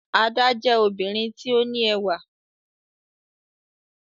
Ada jẹ obirin ti o ni ẹwà